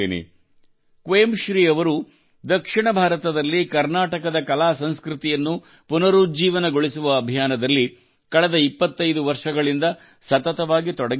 ಕ್ವೇಮ್ ಶ್ರೀ ಅವರು ದಕ್ಷಿಣ ಭಾರತದಲ್ಲಿ ಕರ್ನಾಟಕದ ಕಲಾಸಂಸ್ಕೃತಿಯನ್ನು ಪುನರುಜ್ಜೀವನಗೊಳಿಸುವ ಅಭಿಯಾನದಲ್ಲಿ ಕಳೆದ 25 ವರ್ಷಗಳಿಂದ ಸತತವಾಗಿ ತೊಡಗಿಕೊಂಡಿದ್ದಾರೆ